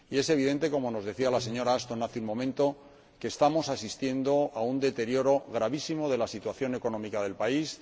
Y es evidente, como nos decía la señora Ashton hace un momento, que estamos asistiendo a un deterioro gravísimo de la situación económica del país.